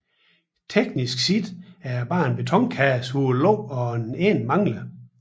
Teknisk set er det bare en betonkasse hvor låget og en ende mangler